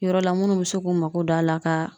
Yɔrɔ la munnu bi se k'u mako don a la ka